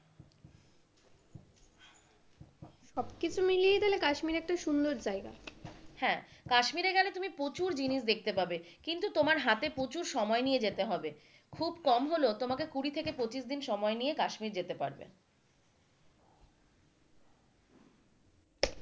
সবকিছু মিলিয়ে কাশ্মীর তাহলে একটা সুন্দর জায়গা হ্যাঁ, কাশ্মীর এ গেলে তুমি প্রচুর জিনিস দেখতে পাবে, কিন্তু তোমার হাতে প্রচুর সময় নিয়ে যেতে হবে খুব কম হলেও কুড়ি থেকে পঁচিশ দিন সময় নিয়ে তুমি কাশ্মীর যেতে পারবে,